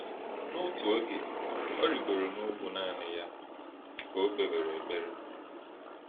N’oge ọzọ, “ọ rịgoro n’ugwu naanị ya ka o kpewere ekpere.”